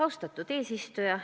Austatud eesistuja!